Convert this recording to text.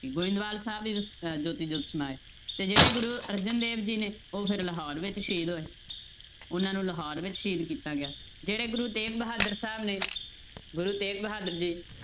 ਗੋਬਿੰਦਵਾਲ ਸਾਹਿਬ ਹੀ ਅਹ ਜੋਤੀ ਜੋਤ ਸਮਾਏ ਤੇ ਜਿਹੜੇ ਗੁਰੂ ਅਰਜਨ ਦੇਵ ਜੀ ਨੇ ਉਹ ਫਿਰ ਲਾਹੌਰ ਵਿੱਚ ਸ਼ਹੀਦ ਹੋਏ ਉਹਨਾਂ ਨੂੰ ਲਾਹੌਰ ਵਿੱਚ ਸ਼ਹੀਦ ਕੀਤਾ ਗਿਆ, ਜਿਹੜੇ ਗੁਰੂ ਤੇਗ ਬਹਾਦਰ ਸਾਹਿਬ ਨੇ ਗੁਰੂ ਤੇਗ ਬਹਾਦਰ ਜੀ